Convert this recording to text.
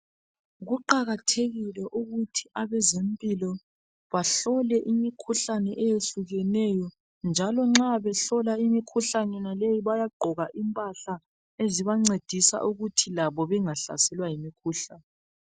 Kuqakathekile ukuthi abezempilo bahlole imikhuhlane eyehlukeneyo njalo nxa behlola imikhuhlane leyi bayagqoka impahla ezebancedisa ukuthi labo bengahlaselwa yimikhuhlane.